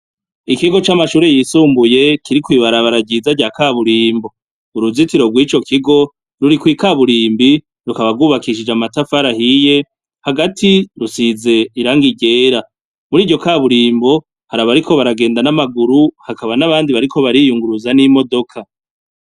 Ikigo c'amashure yisumbuye kiri kw'ibarabara ryiza rya kaburimbo uruzitiro rw'ico kigo ruri kw'ikaburimbi rukaba rwubakishije amatafari ahiye hagati rusize irangi ryera muri iryo kaburimbo hari abariko baragenda n'amaguru hakaba n'abandi bariko bariyunguruza n'imodoka.